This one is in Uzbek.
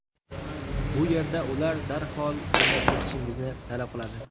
Bu yerda ular darhol o‘ynab ketishingizni talab qiladi.